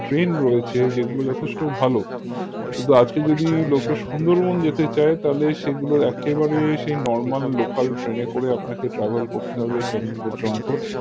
train রয়েছে যেগুলো যথেষ্ট ভালো কিন্তু আজকে যদি লোকে সুন্দরবন যেতে চায় তাহলে সেগুলোর একেবারে সেই normal local train এ করে আপনাকে travel করতে হবে ক্যানিং পর্যন্ত